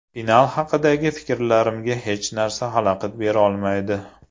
Final haqidagi fikrlarimga hech narsa xalaqit berolmaydi.